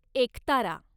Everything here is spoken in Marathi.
एकतारा